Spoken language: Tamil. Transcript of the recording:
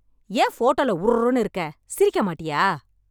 ஏன் போட்டோல உர்ருனு இருக்க சிரிக்க மாட்டியா